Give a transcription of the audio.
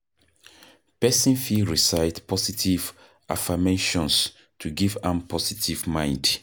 Person fit recite positive affirmations to give am positive mind